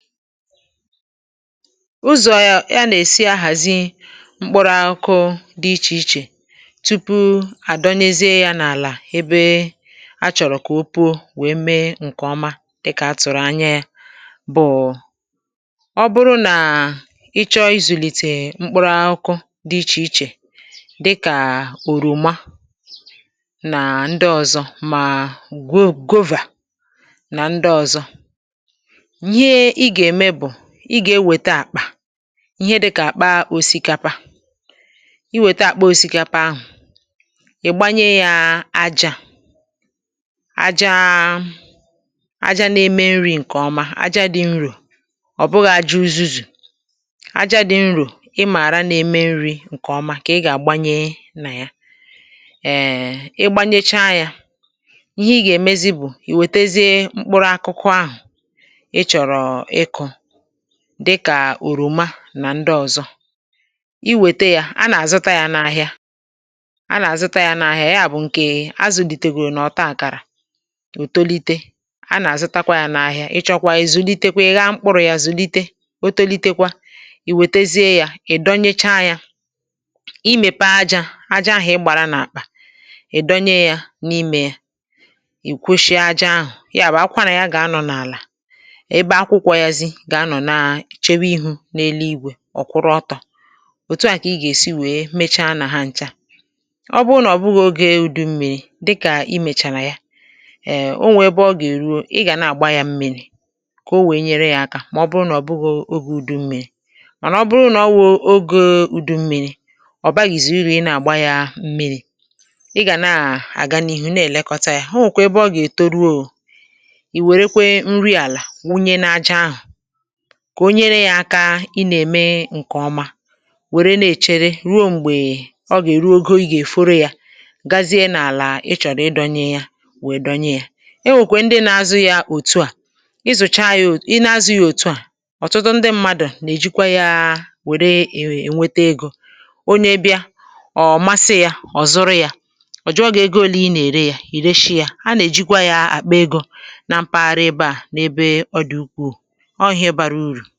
Uzọ̇ a nà-èsi ahàzi mkpụrụ akụkụ dị ichè ichè tupu à dọnyezie ya n’àlà ebe a chọ̀rọ̀ kà o puo wèe mee ǹkè ọma dịkà a tụ̀rụ̀ anya ya, bụ̀ọ̀ ọ bụrụ nà ị chọọ izùlìtè mkpụrụ akụkụ dị ichè ichè dịkà òròma nà ndị ọ̀zọ mà go gova nà ndị ọ̀zọ ihe ị ga-eme bụ ịga-eweta akpa ihe dịkà àkpa osikapa, i wète àkpa osikapa ahụ̀, ị̀ gbanye yȧ ájȧ ájȧ ájȧ n’eme nri̇ ṅ̀kè ọma àjȧ dị̇ nrò, ọ̀ bụghị̇ àji uzuzù àjȧ dị̇ nrò ị mààra n’eme nri̇ ṅ̀kè ọma kà ị gà àgbanye nà ya ẹẹ ị gbanyecha yȧ ihe ị gà èmezi bù ì wètezie mkpụrụ akụkụ ahụ̀ ịchọrọ iku dịkà òròma nà ndị ọ̀zọ i wète yȧ a nà-àzụta yȧ n’ahịa a nà-àzụta yȧ n’ahịa ya bụ̀ ǹkè azụ̀lìtègòrò nà ọ̀ta àkàrà ò tolite a nà-àzụtakwa yȧ n’ahịa ịchọ̇kwa izu̇litekwa ị̀ ghaa mkpụrụ̇ yȧ zùlite o tolitekwa ì wètezie yȧ ị̀ dọnyecha yȧ imèpe aja aja ahụ̇ ị̀ gbara n’àkpà ị̀ dọnye yȧ n’imė ị̀ kwoshie aja ahụ̀ ya bụ̀ akwara ya gà-anọ̇ n’àlà, ebe akwụkwọ yazi gà anọ̀ na chewu ihu̇ n’elu igwè ọ̀ kwụrụ ọtọ, òtù à kà ị gà èsi wèe mechaa nà ha nchȧ, ọ bụrụ nà ọ̀ bụghị̇ ogė ùdụ mmi̇ri̇ dịkà i mèchàrà ya èe o nwèe ebe ọ gà èruo ị gà nà àgba yȧ mmịrị̇ kà o wèe nyere yȧ aka mà ọ bụrụ nà ọ bụghi ogė ùdụ mmi̇ri̇ ọ̀ nà ọ bụrụ nà o wụ̀ oge u̇dù mmịrị̇ ọ̀ baghị̀zị̀ uru ị nà àgba yȧ mmịrị̇, ị gà na àgana ihu̇ na èlekọta yȧ onwekwa ebe ọ gà ètoruo, ì wèrekwe nri àlà wunye n’aja ahụ̀ kà o nyere yȧ aka ị nà-ème ǹkè ọma wère na-èchere ruo m̀gbè ọ gà-èru ogo ị gà-èforo yȧ gazie n’àlà ị chọ̀rọ̀ ịdọnye yȧ nwèe dọnye yȧ, e nwèkwè ndị na-azu yȧ òtu à i zùcha yȧ, ịna-azụ ya òtu à ọ̀tụtụ ndị mmadụ̀ nà-èjikwa yȧ wère ènwete egȯ, onye bịa ọ̀ masị ya ọ̀ zụrụ ya, ọ̀ jụ̀ọ gị ego ole ị nà-ère yȧ, ì reshi ya a nà-èjikwa yȧ àkpà egȯ na mpaghara ebe à n’ebe ọ dị̀ ukwù, ọọ ihe bara uru.